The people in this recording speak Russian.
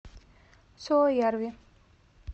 суоярви